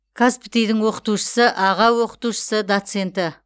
қазпти дың оқытушысы аға оқытушысы доценті